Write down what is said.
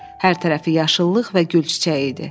Hər tərəfi yaşıllıq və gül çiçəyi idi.